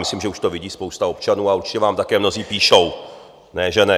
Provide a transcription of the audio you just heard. Myslím, že už to vidí spousta občanů, a určitě vám také mnozí píší, ne že ne.